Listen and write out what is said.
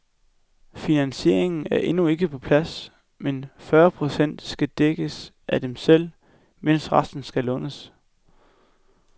Finansieringen er endnu ikke på plads, men fyrre procent skal dækkes af dem selv, mens resten skal lånes.